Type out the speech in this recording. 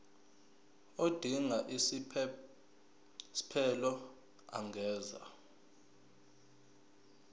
odinga isiphesphelo angenza